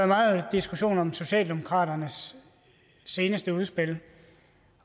meget diskussion om socialdemokratiets seneste udspil